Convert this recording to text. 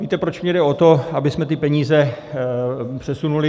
Víte, proč mi jde o to, abychom ty peníze přesunuli?